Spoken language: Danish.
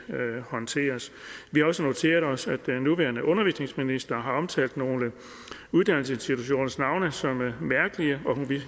håndteres vi har også noteret os at den nuværende undervisningsminister har omtalt nogle uddannelsesinstitutioners navne som mærkelige og hun vil